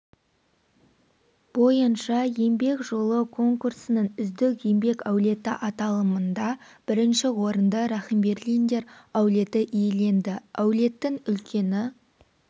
бойынша еңбек жолы конкурсының үздік еңбек әулеті аталымында бірінші орынды рахимберлиндер әулеті иеленді әулеттің үлкені